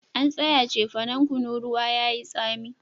An tsaya cefanan kunu ruwa yayi tsami